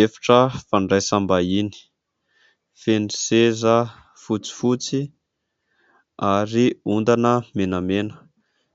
Efitra fandraisam-bahiny, feno seza fotsifotsy ary ondana menamena.